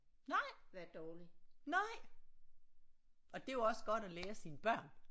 Nej nej og det er jo også godt at lære sine børn